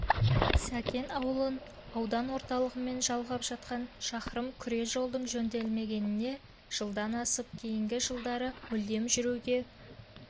сәкен ауылын аудан орталығымен жалғап жатқан шақырым күре жолдың жөнделмегеніне жылдан асыпты кейінгі жылдары мүлдем жүруге